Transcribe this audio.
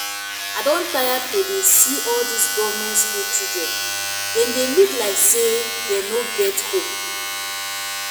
i don tire to dey see all dis government school children dem dey look like say dem no get home